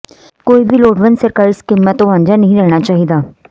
ਕੋਈ ਵੀ ਲੋੜਵੰਦ ਸਰਕਾਰੀ ਸਕੀਮਾਂ ਤੋਂ ਵਾਝਾਂ ਨਹੀਂ ਰਹਿਣਾ ਚਾਹੀਦਾ